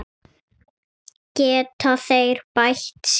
Geta þeir bætt sig?